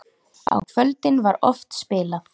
Á kvöldin var oft spilað.